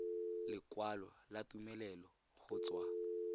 lekwalo la tumelelo go tswa